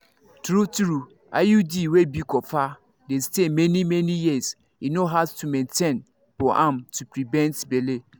true-true iud wey be copper dey stay many-many years e no hard to maintain for am to prevent belle.